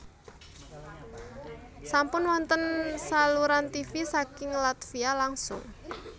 Sampun wonten saluran tivi saking Latvia langsung